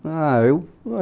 Ah eu, a